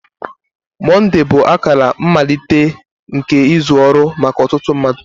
Mọnde bụ akara mmalite nke izu ọrụ maka ọtụtụ mmadụ.